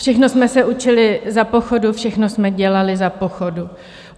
Všechno jsme se učili za pochodu, všechno jsme dělali za pochodu.